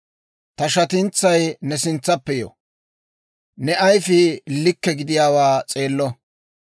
Ta shatintsay ne sintsappe yo; ne ayifii likke gidiyaawaa s'eello.